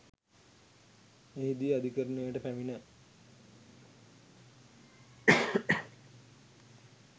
එහිදී අධිකරණයට පැමිණ